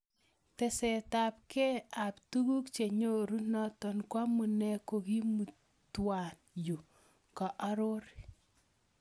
Tesetab ke ab tuguk chenyoru - noto koamune kakimutwa yu", koarori.